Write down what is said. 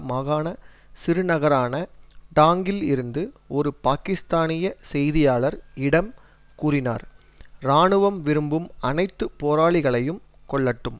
மாகாண சிறுநகரான டாங்கில் இருந்து ஒரு பாக்கிஸ்தானிய செய்தியாளர் இடம் கூறினார் இராணுவம் விரும்பும் அனைத்து போராளிகளையும் கொல்லட்டும்